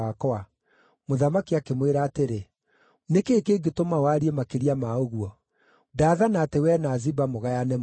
Mũthamaki akĩmwĩra atĩrĩ, “Nĩ kĩĩ kĩngĩtũma warie makĩria ma ũguo? Ndaathana atĩ wee na Ziba mũgayane mũgũnda.”